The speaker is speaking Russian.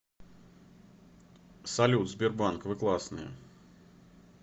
салют сбербанк вы классные